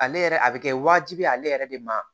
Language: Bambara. Ale yɛrɛ a bɛ kɛ wajibi ye ale yɛrɛ de ma